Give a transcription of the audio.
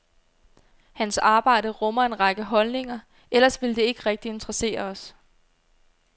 Hans arbejde rummer en række holdninger, ellers ville det ikke rigtig interessere os.